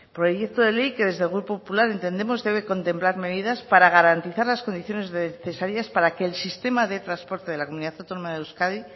proyecto de ley que desde el grupo popular entendemos debe contemplar medidas para garantizar las condiciones necesarias para que el sistema de transporte de la comunidad autónoma de euskadi